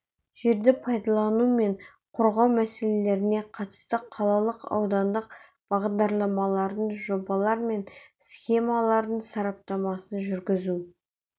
жерді пайдалану мен қорғау мәселелеріне қатысты қалалық аудандық бағдарламалардың жобалар мен схемалардың сараптамасын жүргізу